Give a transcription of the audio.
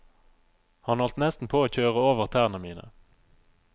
Han holdt nesten på å kjøre over tærne mine.